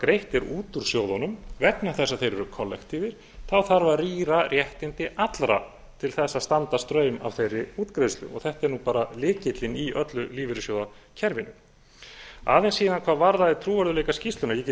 greitt er út úr sjóðunum vegna þess að þeir eru kollektífir þarf að rýra réttindi allra til þess að standa straum af þeirri útgreiðslu þetta er nú bara lykillinn í öllu lífeyrissjóðakerfinu aðeins síðan hvað varðaði trúverðugleika skýrslunnar ég get